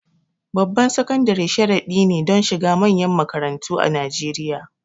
Babban sakandare sharadi ne don shiga manyan makarantu a Najeriya.